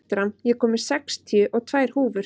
Fertram, ég kom með sextíu og tvær húfur!